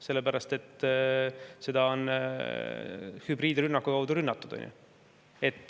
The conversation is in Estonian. Sellepärast, et seda on hübriidrünnaku käigus rünnatud.